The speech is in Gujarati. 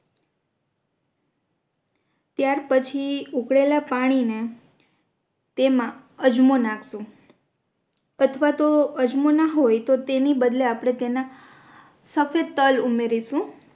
ત્યાર પછી ઉકળેલા પાણી ને તેમા અજમો નાખશુ અથવા તો અજમો ના હોય તો તેની બદલે આપણે તેના સફેદ તલ ઉમેરીશુ